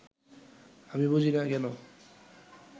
আমি বুঝি না, কেন